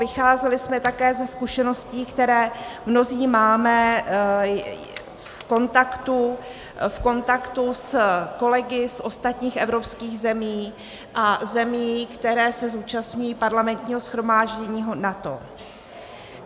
Vycházeli jsme také ze zkušeností, které mnozí máme v kontaktu s kolegy z ostatních evropských zemí a zemí, které se zúčastňují Parlamentního shromáždění NATO.